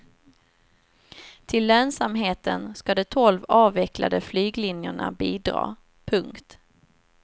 Till lönsamheten ska de tolv avvecklade flyglinjerna bidra. punkt